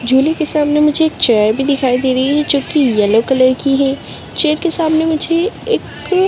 झूले के सामने मुझे एक चेयर दिखाई दे रही है जो कि येलो कलर की है चेयर के सामने मुझे एक --